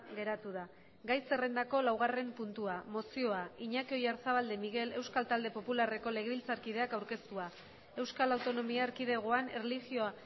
geratu da gai zerrendako laugarren puntua mozioa iñaki oyarzabal de miguel euskal talde popularreko legebiltzarkideak aurkeztua euskal autonomia erkidegoan erlijioa